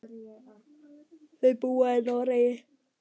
Þau búa í Noregi.